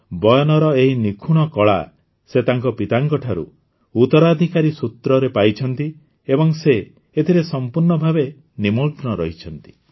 ବୟନର ଏହି ନିଖୁଣ କଳା ସେ ତାଙ୍କ ପିତାଙ୍କଠାରୁ ଉତରାଧିକାର ସୂତ୍ରରେ ପାଇଛନ୍ତି ଏବଂ ଏବେ ସେ ଏଥିରେ ସମ୍ପୂର୍ଣ୍ଣ ଭାବେ ନିମଗ୍ନ ରହିଛନ୍ତି